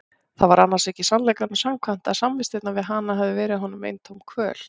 Það var annars ekki sannleikanum samkvæmt að samvistirnar við hana hefðu verið honum eintóm kvöl.